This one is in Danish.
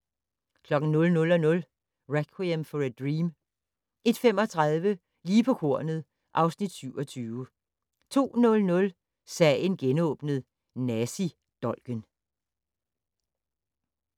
00:00: Requiem For a Dream 01:35: Lige på kornet (Afs. 27) 02:00: Sagen genåbnet: Nazidolken